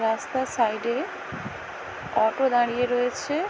রাস্তার সাইড - এ অটো দাঁড়িয়ে রয়েছে --